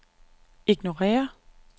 ignorér